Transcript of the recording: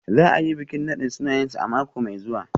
Za a yi bikin nadin sunayensu a mako mai zuwa.